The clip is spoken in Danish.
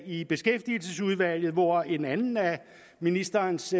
i beskæftigelsesudvalget hvor en anden af ministerens